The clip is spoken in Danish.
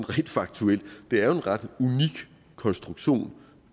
rent faktuelt er en ret unik konstruktion